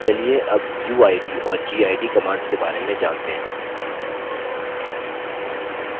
चलिए अब uid और gid commands के बारे में जानते हैं